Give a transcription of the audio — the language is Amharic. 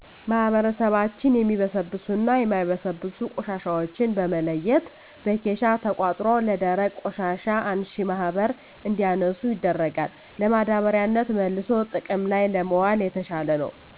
ማህበረሰባችን የሚበሰብሱና የማይበሰብሱ ቆሻሻዎችን በመለየት በኬሻ ተቆጥሮ ለደረቅ ቆሻሻ አንሺ ማህበር እንዲያነሱ ይደረጋል። ለማዳበሪያነት መልሶ ጥቅም ላይ ለማዋል የተሻለ ነው።